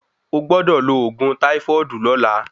Ogbọ́dọ̀ lo ògùn táífọ́ọ̀dù lọla.